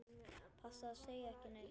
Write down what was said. Passaðu að segja ekki neitt.